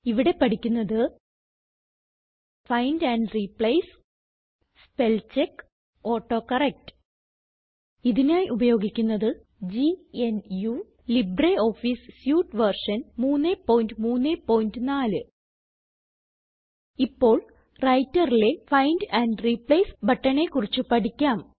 ഇവിടെ പഠിക്കുന്നത് find and replace spellcheck autocorrect ഇതിനായി ഉപയോഗിക്കുന്നത് ഗ്നു ലിബ്രിയോഫീസ് സ്യൂട്ട് വെർഷൻ 334 ഇപ്പോൾ Writerലെ ഫൈൻഡ് ആൻഡ് റിപ്ലേസ് ബട്ടണെ കുറിച്ച് പഠിക്കാം